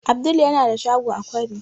Abdul yana da shago a kwari